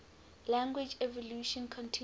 language evolution continues